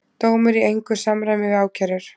Dómur í engu samræmi við ákærur